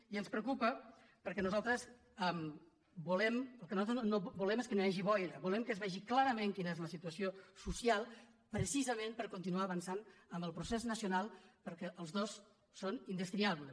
i ens pre·ocupa perquè el que nosaltres volem és que no hi hagi boira volem que es vegi clarament quina és la situa·ció social precisament per continuar avançant en el procés nacional perquè els dos són indestriables